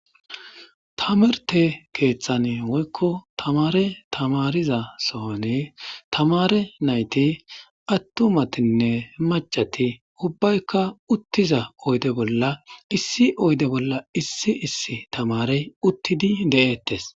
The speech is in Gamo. Tamarte keeththan woykko tamare tamariza sohon tamare nayti attumatinne macati ubbaykka uttiza oyde bolla issi oyde bolla issi issi tamarey uttidi de'eettes.